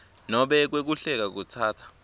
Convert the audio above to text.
nobe kwehluleka kutsatsa